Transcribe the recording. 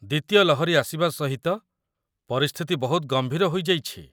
ଦ୍ୱିତୀୟ ଲହରୀ ଆସିବା ସହିତ ପରିସ୍ଥିତି ବହୁତ ଗମ୍ଭୀର ହୋଇଯାଇଛି।